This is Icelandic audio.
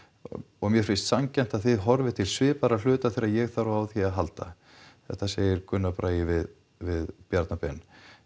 og mér finnst sanngjarnt að þið horfið til svipaðra hluta þegar ég þarf á því að halda þetta segir Gunnar Bragi við við Bjarna Ben